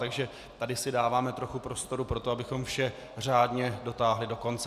Takže tady si dáváme trochu prostoru pro to, abychom vše řádně dotáhli do konce.